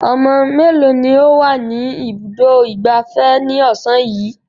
Ọmọ mélòó ni ó wà ní Ibùdó-ìgbafẹ́ ní ọ̀sán yìí?